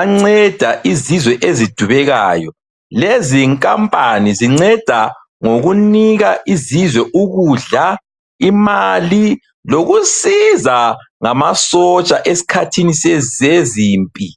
anceda izizwe ezidubekayo. Lezinkampani zinceda ngokunika izizwe ukudla, imali lokusiza ngamasotsha eskhathini sezimpi.